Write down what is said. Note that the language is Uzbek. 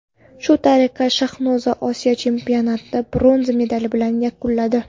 Shu tariqa Shahnoza Osiyo chempionatini bronza medali bilan yakunladi.